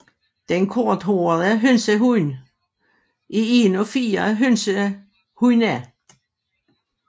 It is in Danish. Den Korthåret hønsehund er en af fire hønsehund